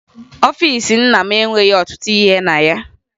Ọfiisi nna m enweghi ọtụtụ ihe na ya